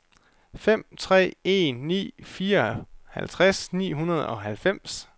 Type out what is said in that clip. fem tre en ni fireoghalvtreds ni hundrede og halvfems